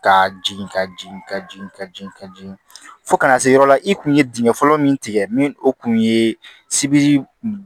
Ka jigin ka jigin ka jigin ka jigin ka jigin fo kana se yɔrɔ la i kun ye dingɛ fɔlɔ min tigɛ ni o kun ye sibi